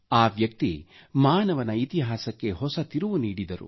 ಆ ವ್ಯಕ್ತಿ ಮಾನವನ ಇತಹಾಸಕ್ಕೆ ಹೊಸ ತಿರುವು ನೀಡಿದರು